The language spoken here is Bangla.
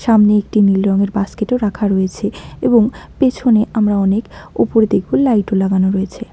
সামনে একটি নীল রঙের বাস্কেটও রাখা রয়েছে এবং পেছনে আমরা অনেক ওপরদিকও লাইটও লাগানো রয়েছে।